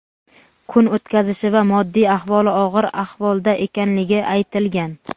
kun o‘tkazishi va moddiy ahvoli og‘ir ahvolda ekanligi aytilgan.